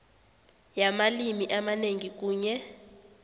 yamalimi amanengi kunye